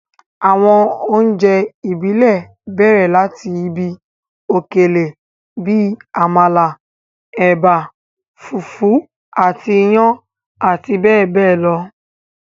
Àwọn oúnjẹ ìbílẹ̀ bẹ̀rẹ̀ láti ibi òkèlè bíi àmàlà, ẹ̀bà, fùfú àti iyán àti bẹẹ bẹẹ lọ.